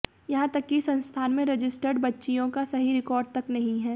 यहां तक कि संस्थान में रजिस्टर्ड बच्चियों का सही रिकॉर्ड तक नहीं है